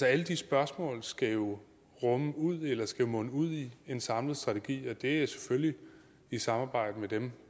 alle de spørgsmål skal jo munde ud i en samlet strategi og det er selvfølgelig i samarbejde med dem